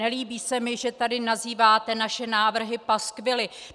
Nelíbí se mi, že tady nazýváte naše návrhy paskvily.